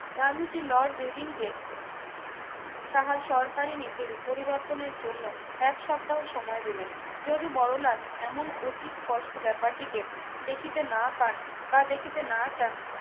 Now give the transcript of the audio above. গান্ধীজীর লর্ড রিডিংকে তার সরকারি নীতি পরিবর্তনের জন্য এক সপ্তাহ সময় দিলেন যদি বড়লাট এমন অতি স্পষ্ট ব্যাপারটিকে দেখিতে না পান বা দেখিতে না চান